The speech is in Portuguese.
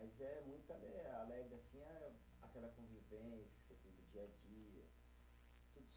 Mas é muito alegre, assim, aquela convivência que você tem no dia a dia.